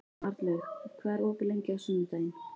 Arnlaug, hvað er opið lengi á sunnudaginn?